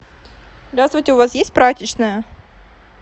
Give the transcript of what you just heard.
здравствуйте у вас есть прачечная